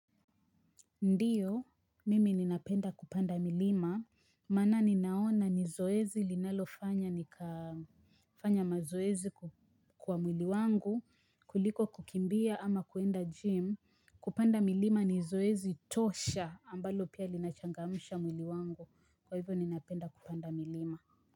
Ndiyo, mimi ninapenda kupanda milima, mana ninaona ni zoezi linalo fanya nika fanya mazoezi kwa mwili wangu, kuliko kukimbia ama kuenda gym, kupanda milima ni zoezi tosha ambalo pia linachangamusha mwili wangu, kwa hivyo ninapenda kupanda milima.